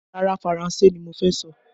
Rárá, Faranse ni mo fẹ́ sọ